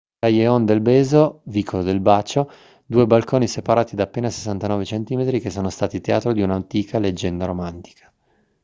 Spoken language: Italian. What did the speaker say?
callejon del beso vicolo del bacio. due balconi separati da appena 69 centimetri che sono stati teatro di un'antica leggenda romantica